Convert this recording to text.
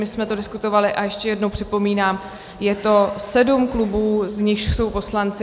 My jsme to diskutovali - a ještě jednou připomínám, je to sedm klubů, z nichž jsou poslanci.